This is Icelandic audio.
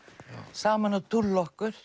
saman að dúlla okkur